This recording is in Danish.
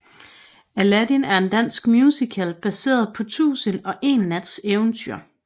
Aladdin er en dansk musical baseret på Tusind og en Nats eventyr